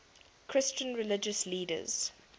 christian religious leaders